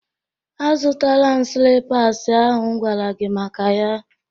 Azụtaala m slippas ahụ m gwara gi maka ya